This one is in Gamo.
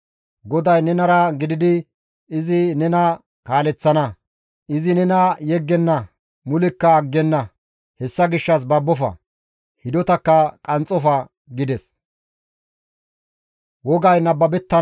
GODAY nenara gididi izi nena kaaleththana; izi nena yeggenna; mulekka aggenna; hessa gishshas babbofa; hidotakka qanxxofa» gides.